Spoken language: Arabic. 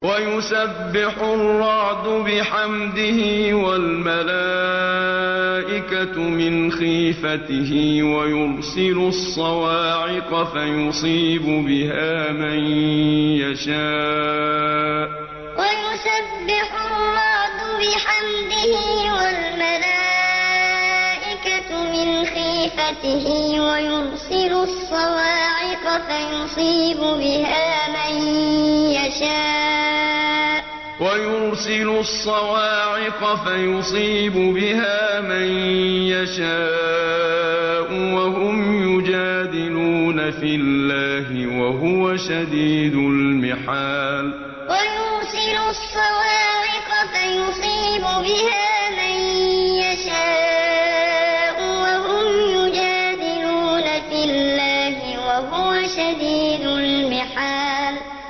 وَيُسَبِّحُ الرَّعْدُ بِحَمْدِهِ وَالْمَلَائِكَةُ مِنْ خِيفَتِهِ وَيُرْسِلُ الصَّوَاعِقَ فَيُصِيبُ بِهَا مَن يَشَاءُ وَهُمْ يُجَادِلُونَ فِي اللَّهِ وَهُوَ شَدِيدُ الْمِحَالِ وَيُسَبِّحُ الرَّعْدُ بِحَمْدِهِ وَالْمَلَائِكَةُ مِنْ خِيفَتِهِ وَيُرْسِلُ الصَّوَاعِقَ فَيُصِيبُ بِهَا مَن يَشَاءُ وَهُمْ يُجَادِلُونَ فِي اللَّهِ وَهُوَ شَدِيدُ الْمِحَالِ